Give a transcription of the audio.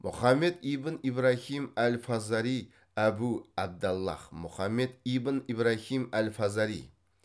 мұхаммед ибн ибрахим әл фазари әбу абдаллах мұхаммед ибн ибрахим әл фазари